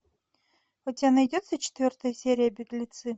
у тебя найдется четвертая серия беглецы